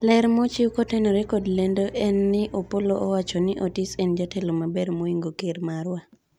ler mochiw kotenore kod lendoni en ni Opollo owacho ni Otis en jatelo maber moingo ker marwa